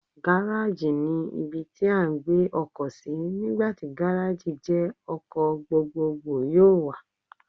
Gárájì ni ibi tí à ń gbé ọkọ̀ sí, nígbà tí Gárájì jẹ́ ọkọ̀ gbogbogbò yóò wà.